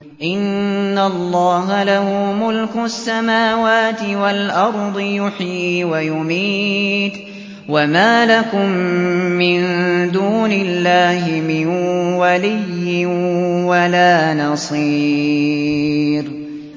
إِنَّ اللَّهَ لَهُ مُلْكُ السَّمَاوَاتِ وَالْأَرْضِ ۖ يُحْيِي وَيُمِيتُ ۚ وَمَا لَكُم مِّن دُونِ اللَّهِ مِن وَلِيٍّ وَلَا نَصِيرٍ